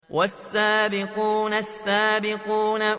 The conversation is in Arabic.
وَالسَّابِقُونَ السَّابِقُونَ